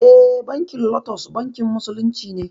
Eh bankin lotus bankin musulunci ne